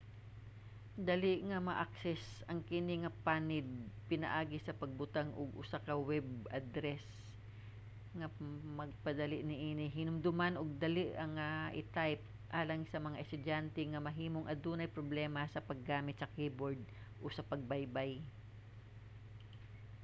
dali nga ma-access ang kini nga panid pinaagi sa pagbutang og usa ka web address nga magpadali niini hinumdoman ug dali nga i-type alang sa mga estudyante nga mahimong adunay problema sa paggamit sa keyboard o sa pagbaybay